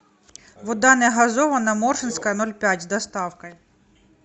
вода не газированная морсинская ноль пять с доставкой